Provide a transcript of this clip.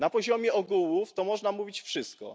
Na poziomie ogółów to można mówić wszystko.